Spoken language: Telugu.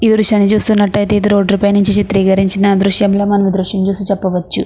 ఈ దృశ్యాన్ని చూస్తునట్టయతే ఇది రోడ్డు పై నుంచి చిత్రీకరించిన దృష్యం లా మనం ఈ దృశ్యాన్ని చూసి చెప్పవచ్చు.